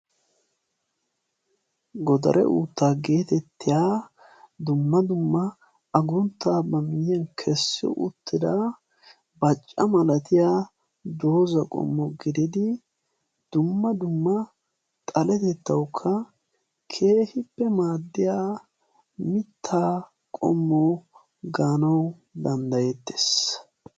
Godare uuttaa getettiyaa dumma dumma agunttaa ba miyiyaan kessi uttida baacca malatiyaa dooza qommo gididi dumma dumma xaletettawukka keehippe maaddiyaa mittaa qommo gaanawu danddayettes.